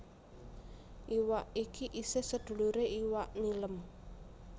Iwak iki isih seduluré iwak nilem